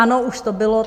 Ano, už to bylo.